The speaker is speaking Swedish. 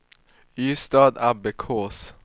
Ystadabbekås